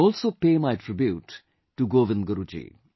I also pay my tribute to Govind Guru Ji